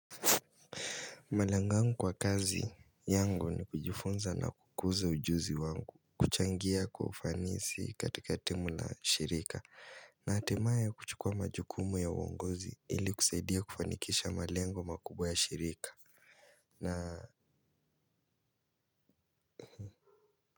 Malengo yangu kwa kazi yangu ni kujufunza na kukuza ujuzi wangu. Kuchangia kwa ufanisi katika timu na shirika. Na hatimaye kuchukua majukumu ya uongozi ili kusaidia kufanikisha malengo makubwa ya shirika. Na.